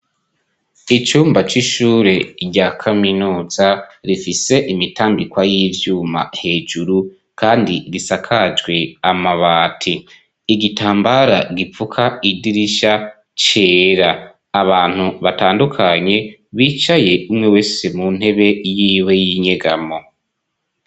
icyumba c'ishure rya kaminuza rifis'ibyuma hejuru risakajw' amabati igitambara gipfuk' amadirisha cera har' abantu batandukanye, bicay' umwe wese mu ntebe y'iwe y'inyegamo, kuruhome hasiz' irangi ry' umuhondo.